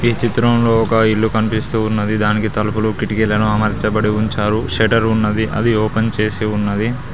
ఈ చిత్రంలో ఒక ఇల్లు కనిపిస్తూ ఉన్నది దానికి తలుపులు కిటికీలు అమర్చబడి ఉంచారు షట్టర్ ఉన్నది అది ఓపెన్ చేసి ఉన్నది.